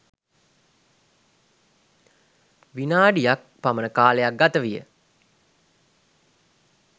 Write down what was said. විනාඩි ක් පමණ කාලයක් ගත විය